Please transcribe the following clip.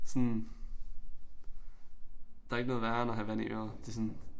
Sådan der ikke noget værre end at have vand i øret det sådan